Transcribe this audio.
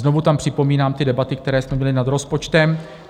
Znovu tam připomínám ty debaty, které jsme měli nad rozpočtem.